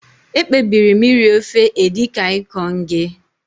Ekpebiri m iri ofe Edikaikong gị